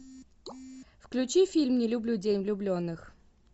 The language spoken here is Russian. включи фильм не люблю день влюбленных